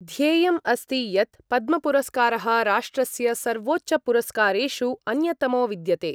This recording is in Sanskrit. ध्येयम् अस्ति यत् पद्म पुरस्कारः राष्ट्रस्य सर्वोच्चपुरस्कारेषु अन्यतमो विद्यते।